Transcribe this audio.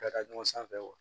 Ka taa ɲɔgɔn sanfɛ